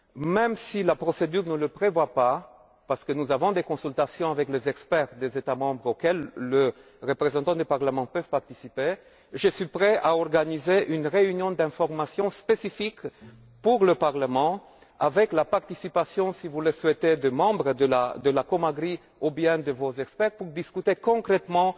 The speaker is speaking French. De Castro même si la procédure ne le prévoit pas parce que nous avons des consultations avec les experts des États membres auxquelles les représentants du Parlement peuvent participer je suis prêt à organiser une réunion d'information spécifique pour le Parlement, avec la participation, si vous le souhaitez, de membres de la commission de l'agriculture et du développement rural ou bien de vos experts afin de discuter concrètement